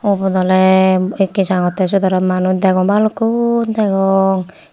ubot ole ekke jangotte siyot aro manuj degong balukkun degong.